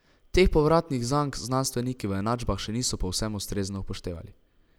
Teh povratnih zank znanstveniki v enačbah še niso povsem ustrezno upoštevali.